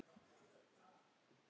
Þá fékk ég alveg sjokk.